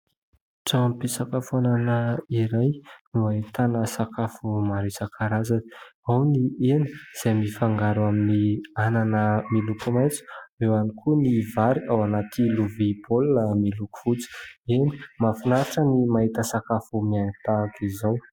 Tranom-pisakafoanana iray no ahitana sakafo maro isan-karazany ao : ny hena izay mifangaro amin'ny anana miloko maitso, eo ihany koa ny vary ao anaty lovia baolina miloko fotsy. Eny, mahafinaritra ny mahita sakafo mihaingo tahaka izao.